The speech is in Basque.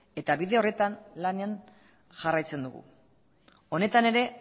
eta bide horretan lanean jarraitzen dugu honetan ere